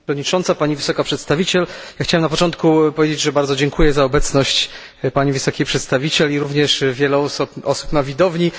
Pani Przewodnicząca! Pani Wysoka Przedstawiciel! Chciałem na początku powiedzieć, że bardzo dziękuję za obecność pani wysokiej przedstawiciel i również wielu osób na widowni.